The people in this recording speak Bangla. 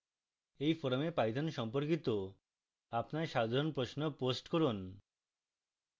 এই forum python সম্পর্কিত আপনার সাধারণ প্রশ্ন post করুন